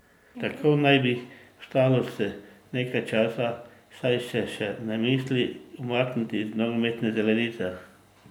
Tako naj bi ostalo še nekaj časa, saj se še ne misli umakniti z nogometne zelenice.